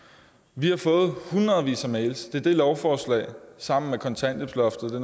vi har fået hundredvis af mails det er det lovforslag sammen med kontanthjælpsloftet det